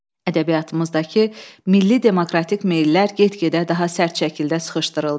Ədəbiyyatımızdakı milli demokratik meyillər get-gedə daha sərt şəkildə sıxışdırıldı.